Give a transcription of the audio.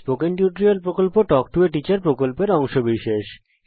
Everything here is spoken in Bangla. স্পোকেন টিউটোরিয়াল প্রকল্প তাল্ক টো a টিচার প্রকল্পের অংশবিশেষ